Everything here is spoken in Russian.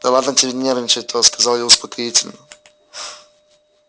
да ладно тебе нервничать-то сказала я успокоительно